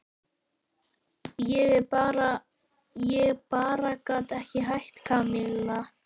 Ég bara gat ekki hætt, Kamilla.